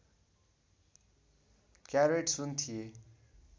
carrot सुन थिए